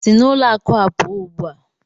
Si na ụlọ akụ a pụọ ugbu a!